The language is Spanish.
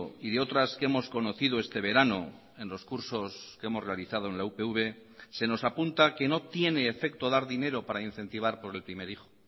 y de otras que hemos conocido este verano en los cursos que hemos realizado en la upv se nos apunta que no tiene efecto dar dinero para incentivar por el primer hijo